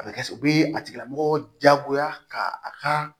A bɛ kɛ u bɛ a tigilamɔgɔ diyagoya ka a ka